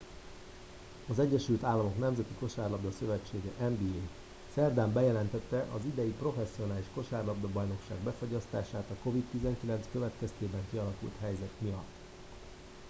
az egyesült államok nemzeti kosárlabda szövetsége nba szerdán bejelentette az idei professzionális kosárlabdabajnokság befagyasztását a covid-19 következtében kialakult helyzet miatt